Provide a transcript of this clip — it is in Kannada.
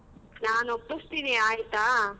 ನಾನ್ ಒಪ್ಪಿಸ್ತಿನಿ ಆಯ್ತಾ.